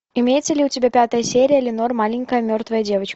имеется ли у тебя пятая серия ленор маленькая мертвая девочка